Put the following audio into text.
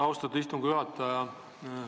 Austatud istungi juhataja!